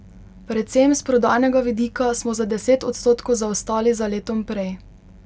Predvsem s prodajnega vidika smo za deset odstotkov zaostali za letom prej.